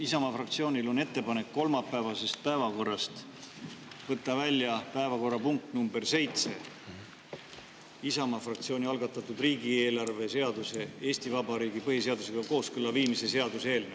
Isamaa fraktsioonil on ettepanek kolmapäevasest päevakorrast võtta välja päevakorrapunkt number seitse, Isamaa fraktsiooni algatatud riigieelarve seaduse Eesti Vabariigi põhiseadusega kooskõlla viimise seaduse eelnõu.